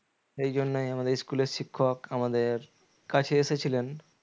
সেজন্যই আমাদের school এর শিক্ষক আমাদের কাছে এসেছিলেন